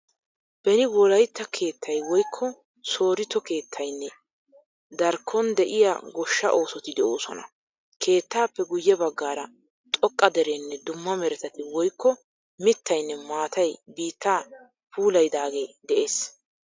Beni wolayitta keettayi woyikko soritto keettayinne darikkon de'iya goshshaa oosoti de'oosona. Keettappe guyye baggaara xoqqa dereenne dumma meretati woyikko mittayinne maatay biittaa puulayidaage de'ees.